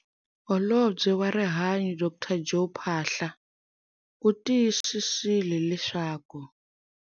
Holobye wa Rihanyo Dr Joe Phaahla u tiyisisile leswaku.